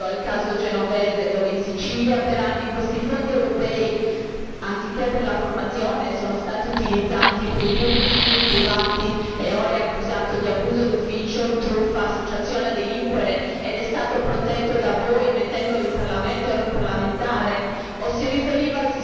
Si riferiva forse al caso Genovese, dove in Sicilia per anni questi fondi europei anziché per la formazione sono stati utilizzati per i suoi fini privati e ora egli è accusato di abuso d'ufficio, truffa, associazione a delinquere ed è stato protetto da voi mettendolo in parlamento e ora è un parlamentare?